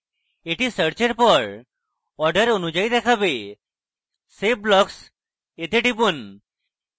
এটি search এর পর order অনুযায়ী দেখাবে save blocks টিপুন